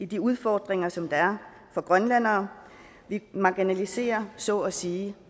de udfordringer som der er for grønlændere vi marginaliserer så at sige